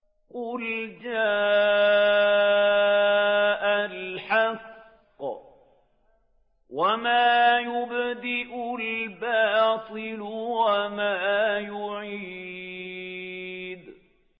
قُلْ جَاءَ الْحَقُّ وَمَا يُبْدِئُ الْبَاطِلُ وَمَا يُعِيدُ